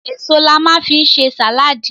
Èso la ma fi ń ṣe sàláàdì.